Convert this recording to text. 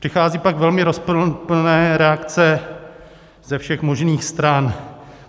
Přichází pak velmi rozporuplné reakce ze všech možných stran.